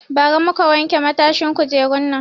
Ba ra muka wanke matashin kujerun nan